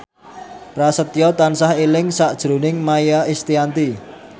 Prasetyo tansah eling sakjroning Maia Estianty